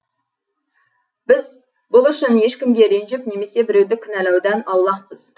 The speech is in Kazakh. біз бұл үшін ешкімге ренжіп немесе біреуді кінәлаудан аулақпыз